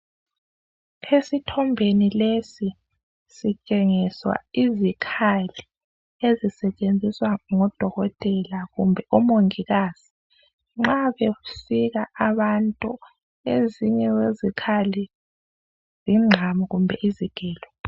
Esithombeni lesi sitshengiswa izikhali ezisetshenziswa ngodokotela kumbe mongikazi nxa besika abantu ezinye zezikali yinqamu kumbe izigelo.